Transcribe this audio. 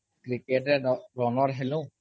cricket runner ହେଲୁ